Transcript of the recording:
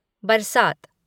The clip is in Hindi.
बरसात